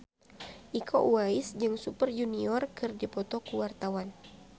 Iko Uwais jeung Super Junior keur dipoto ku wartawan